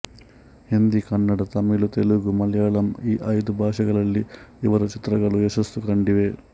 ಹಿಂದಿ ಕನ್ನಡ ತಮಿಳು ತೆಲುಗು ಮಲಯಾಳಂ ಈ ಐದೂ ಭಾಷೆಗಳಲ್ಲಿ ಇವರ ಚಿತ್ರಗಳು ಯಶಸ್ಸು ಕಂಡಿವೆ